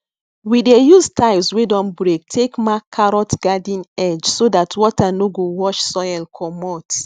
we dey use tiles wey don break take mark carrot garden edge so that water no go wash soil commot